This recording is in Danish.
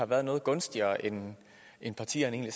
været noget gunstigere end partierne